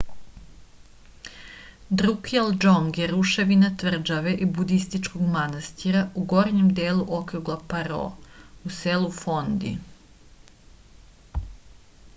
друкјал џонг је рушевина тврђаве и будистичког манастира у горњем делу округа паро у селу фонди